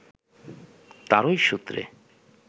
তাঁরই সূত্রে